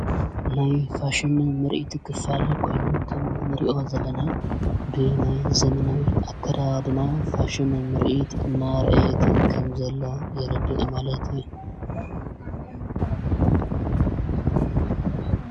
ናይ ፋሽኒ ምርኢቲ ኽፋል ኮኑ ኸም ንሪእዮ ዘለና ብ ናይ ዘምናዊ ኣከራ ድማ ፋሽን ምርኢት ማርአየትን ከም ዘሎ የረድዒ ማለትየ።